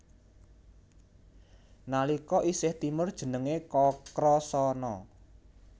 Nalika isih timur jenengé Kakrasana